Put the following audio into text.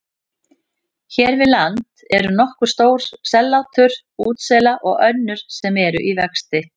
Hér við land eru nokkur stór sellátur útsela og önnur sem eru í vexti.